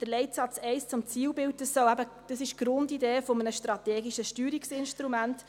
Der Leitsatz 1 zum Zielbild ist die Grundidee eines strategischen Steuerungsinstruments.